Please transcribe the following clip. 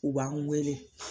U b'an wele